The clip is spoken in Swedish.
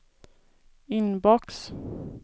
inbox